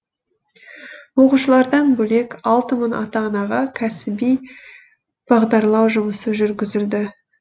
оқушылардан бөлек алты мың ата анаға кәсіби бағдарлау жұмысы жүргізілді